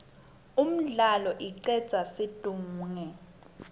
umdlalo icedza situnge